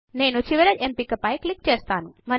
నేను చివరి ఎంపిక పైన క్లిక్ చేస్తాను